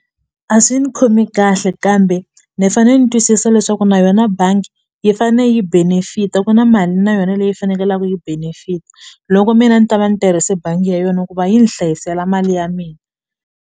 A swi ni khomi kahle kambe ni fane ni twisisa leswaku na yona bangi yi fane yi benefit-a ku na mali na yona leyi fanekelaku yi benefit loko mina ni ta va ni tirhise bangi ya yona ku va yi ni hlayisela mali ya mina.